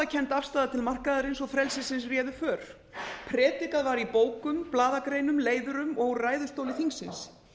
trúarbragðakennd afstaða til markaðarins og frelsisins réðu för predikað var í bókum blaðagreinum leiðurum og ræðustóli þingsins